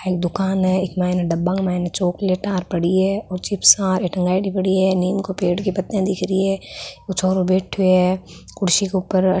एक दुकान है इक माइन डब्बा माइन चॉकलेट पड़ी है और चिप्सा टांगयेड़ी पड़ी है निम् पे पेड़ के पत्ता दिख रही है छोरो बैठो है कुर्सी के ऊपर।